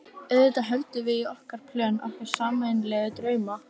auðvitað höldum við í okkar plön, okkar sameiginlegu drauma.